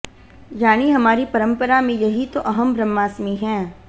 यानी हमारी परंपरा में यही तो अहं ब्रह्मास्मि है